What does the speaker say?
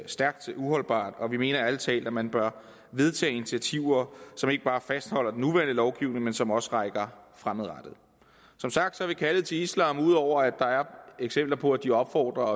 stærkt uholdbart og vi mener ærlig talt at man bør vedtage initiativer som ikke bare fastholder den nuværende lovgivning men som også rækker fremad som sagt har kaldet til islam ud over at der er eksempler på at de opfordrer